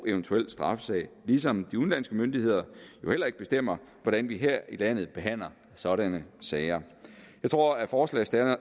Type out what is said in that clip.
eventuelle straffesag ligesom de udenlandske myndigheder jo heller ikke bestemmer hvordan vi her i landet behandler sådanne sager jeg tror at forslagsstillerne